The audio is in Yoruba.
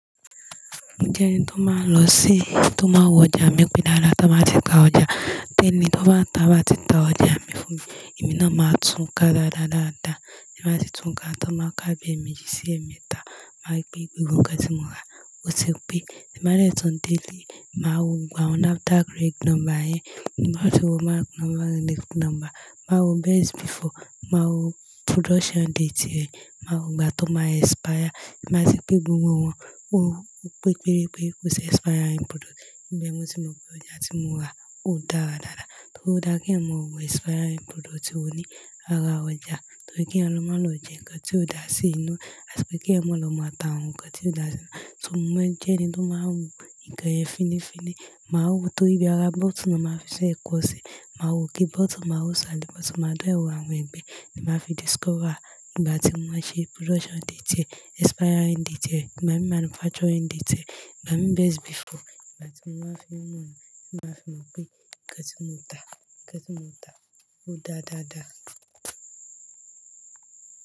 Mojẹ́ ẹni tó máa lọ sí, tó máa wọ ọjà mi pé dáadáa to ba ti ta ọjà. Tẹ́ẹ̀ní tó bá tàá báa ti ta ọjà mi fún mi. Ẹ̀mí náà máa tún ká dáadáa dáadáa. Ti n ba tì tún ká á táa máa kábìí ẹ̀meji sí ẹ̀metàá. Máa ri pé gbogbo nǹkan tí mo rà. Ó ti pẹ́, tin ba dè tún délé, máa wo gbogbo awọn NAFDAC reg number ẹ́. Ẹ máa sì wo mark number, next number. Máa wo best before. Máa wo production date rẹ̀. Máa wo ìgbà tó máa expire. Máa sì gbé gbogbo wọn wọ́n. Pẹ́ o péré péré kó ṣi expiring product. Bẹ́ẹ̀ mo sì mọ pé ọjà tí mo rà ò dára dáadáa. Torí ó dára kí ẹ mọ wo expiring product ò ní ara ọjà. Torí kí eeyan lọ má lọ jẹ nǹkan tió dà sí inu. Àti pé kí eeyan má lọ máa ta awon hun kan tió dà sí. So mo maa njẹ́ ẹni tó máa ń wo nǹkan yẹn fíní fíní. Máa wo tóri bí ara bottle won máa fi bee kọ́ sí i. Máa wo oke bottle máa wò sále. Bottle máa de, wó awọ̀n ẹ̀gbẹ́. Nibmáa fi discover ìgbà tí wọ́n máa ṣe production date rẹ̀, expiring date rẹ̀, ìgbà mí manufacturing date rẹ̀, ìgbà mí best before. Ìgbà tí mo máa fi mọ̀ wọ́n. Kí ẹ máa fi mọ̀ pé nǹkan tí mo tà, nǹkan tí mo tà ó dáadáa dáa.